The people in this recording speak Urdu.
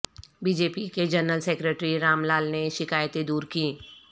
بی جے پی کے جنرل سکریٹری رام لال نے شکایتیں دور کیں